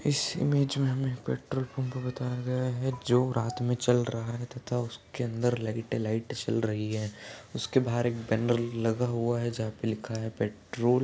इस इमेज में हमें पेट्रोल पम्प बताया गया है जो रात में चल रहा है तथा उसके अंदर लाइट लाइट जल रही है उसके बाहर एक बैनर लगा हुआ है जहाँ पर लिखा है पेट्रोल --